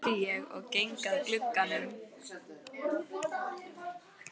spyr ég og geng að glugganum.